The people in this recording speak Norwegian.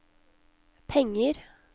penger